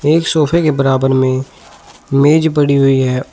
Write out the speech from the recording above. इस सोफे के बराबर मे मेज पड़ी हुई है।